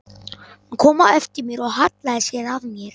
Hún kom á eftir mér og hallaði sér að mér.